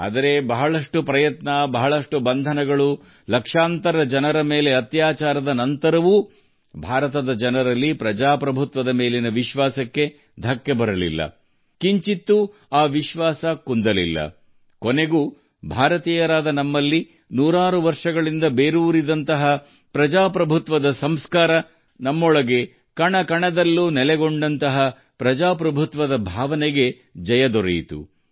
ಆದರೆ ಹಲವು ಪ್ರಯತ್ನಗಳು ಸಾವಿರಾರು ಬಂಧನಗಳು ಮತ್ತು ಲಕ್ಷಾಂತರ ಜನರ ಮೇಲಿನ ದೌರ್ಜನ್ಯಗಳು ನಡೆದರೂ ಪ್ರಜಾಪ್ರಭುತ್ವದ ಮೇಲಿನ ಭಾರತದ ಜನರ ನಂಬಿಕೆ ಅಲುಗಾಡಲಿಲ್ಲ ಎಂದಿಗೂ ಇಲ್ಲ ನಮಗೆ ಭಾರತದ ಜನರಿಗೆ ನಾವು ಶತಮಾನಗಳಿಂದ ಅನುಸರಿಸಿಕೊಂಡು ಬಂದಿರುವ ಪ್ರಜಾಪ್ರಭುತ್ವದ ಸಂಸ್ಕಾರಗಳು ನಮ್ಮ ರಕ್ತನಾಳಗಳಲ್ಲಿರುವ ಪ್ರಜಾಪ್ರಭುತ್ವದ ಮನೋಭಾವ ಅಂತಿಮವಾಗಿ ಗೆಲುವು ಸಾಧಿಸಿದವು